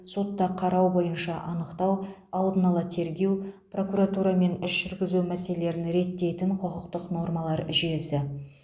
сотта қарау бойынша анықтау алдын ала тергеу прокуратура мен іс жүргізу мәселелерін реттейтін құқықтық нормалар жүйесі